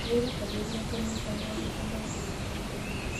Wĩrutanĩrie kũnyita moritũ maku na ũthĩiniĩ.